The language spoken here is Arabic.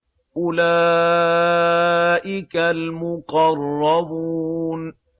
أُولَٰئِكَ الْمُقَرَّبُونَ